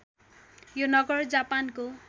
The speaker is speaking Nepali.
यो नगर जापानको